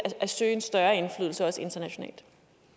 at søge en større indflydelse også internationalt